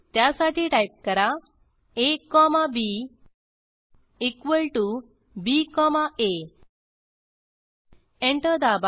त्यासाठी टाईप करा A comma B equal to B comma A enter दाबा